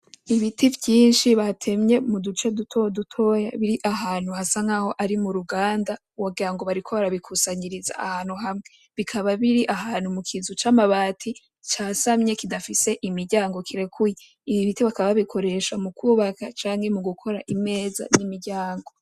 Ibiti vyishi batemye mu duce dutodutoya biri ahantu hasa nkaho ari muruganda wogira ngo bariko barabikusanyiriza ahantu hamwe bikaba biri ahantu mu kizu c'amabati casamye kidafise imiryango kirekuye ibi biti bakaba babikoresha mu kubaka canke mu gukora imeza n'imiryango.